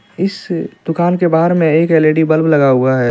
इस दुकान के बाहर में एक एल_इ_डी बल्ब लगा हुआ है.